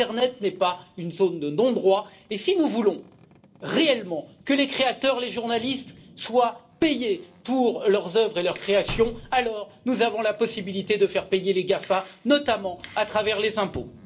L'internet n'est pas une zone de non droit, et si nous voulons réellement que les créateurs et les journalistes soient payés pour leurs œuvres et leurs créations, alors nous avons la possibilité de faire payer les GAFA, notamment à travers les impôts.